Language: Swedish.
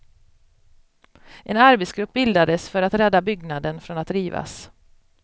En arbetsgrupp bildades för att rädda byggnaden från att rivas.